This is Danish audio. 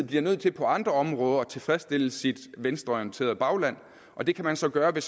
bliver nødt til på andre områder at tilfredsstille sit venstreorienterede bagland og det kan man så gøre ved